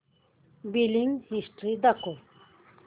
billing history दाखव